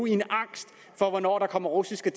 i angst for hvornår der kommer russiske